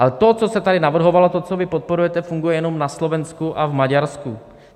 Ale to, co se tady navrhovalo, to, co vy podporujete, funguje jenom na Slovensku a v Maďarsku.